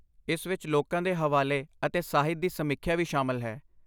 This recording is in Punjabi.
ਇਸ ਵਿੱਚ ਲੋਕਾਂ ਦੇ ਹਵਾਲੇ ਅਤੇ ਸਾਹਿਤ ਦੀ ਸਮੀਖਿਆ ਵੀ ਸ਼ਾਮਲ ਹੈ।